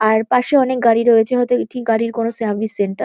আর পাশে অনেক গাড়ি রয়েছে। হয়তো এটি গাড়ির কোনো সার্ভিস সেন্টার ।